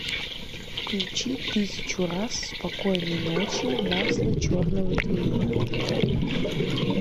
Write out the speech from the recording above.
включи тысячу раз спокойной ночи масло черного тмина